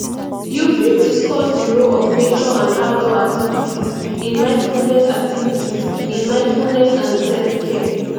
you fit discuss di role of nature and outdoor activities in mindfulness activities in mindfulness and selfcare